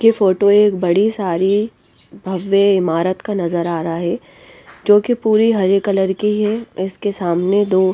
ये फोटो एक बड़ी सारी भव्य इमारत का नजर आ रहा है जो कि पूरी हरे कलर की है इसके सामने दो--